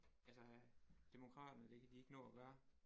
Altså øh demokraterne det kan de ikke nå at gøre